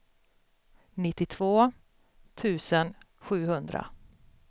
nittiotvå tusen sjuhundra